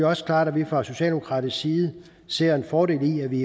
også klart at vi fra socialdemokratisk side ser en fordel i at vi